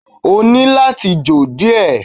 O ní láti jò díẹ̀